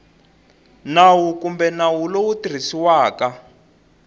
nawu kumbe nawu lowu tirhisiwaka